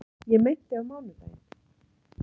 Ég meinti á mánudaginn.